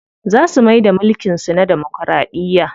Za su maida mulkin su na damokiraɗiya.